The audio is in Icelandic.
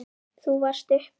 Þú varst uppi.